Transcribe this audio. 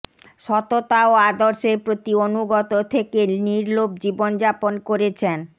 সততা ও আদর্শের প্রতি অনুগত থেকে নির্লোভ জীবনযাপন করেছেন